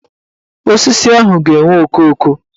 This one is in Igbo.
Osisi ahụ ga-enwe okooko